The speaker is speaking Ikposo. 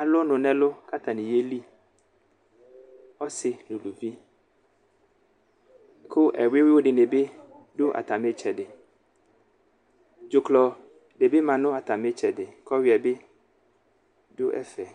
alʋ ɔnu nʋ ɛlʋ ku atani yeliɔsi nu uluviku ɛwuyu dini bi du atami itsɛdidzuklɔ dibi ma nu atami itsɛdi ku ɔyuiɛ bi dʋ ɛfɛ